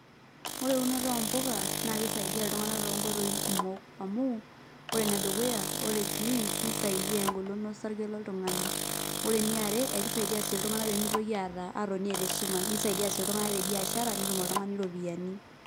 Ore eunoto ompuka, na kisaidia iltung'anak tonkoitoi kumok. Amu, ore enedukuya, ore greens, nisaidia egolon osarge loltung'ani. Ore eniare, ekisaidia si iltung'anak pemitoki aata atoni eeta esumash. Nisaidia si iltung'anak tebiashara, netum oltung'ani ropiyaiani.